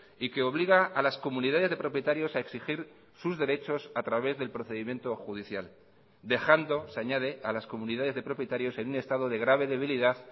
y que obliga a las comunidades de propietarios a exigir sus derechos a través del procedimiento judicial dejando se añade a las comunidades de propietarios en un estado de grave debilidad